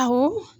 Awɔ